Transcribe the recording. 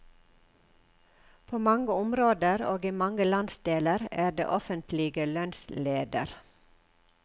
På mange områder, og i mange landsdeler, er det offentlige lønnsleder.